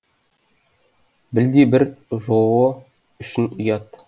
білдей бір жоо үшін ұят